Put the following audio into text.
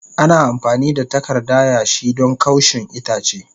Ana amfani da takarda yashi don kaushin itace.